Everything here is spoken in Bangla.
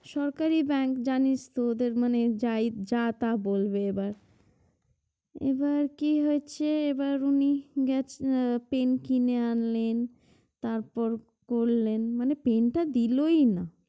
সরকারি bank জানিস তো ওদের মনে যাই যা তা বলবে এবার এবার কি হয়েছে এবার উনি গেছ pen কিনে আনলেন তারপর করলেন মানে pen টা দিলোই না